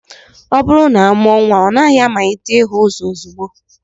Ọ bụrụ na amụọ nnwa, ọ naghị amalite ihu ụzọ ozugbo